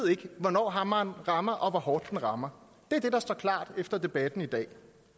hvornår hammeren rammer og hvor hårdt den rammer det er det der står klart efter debatten i dag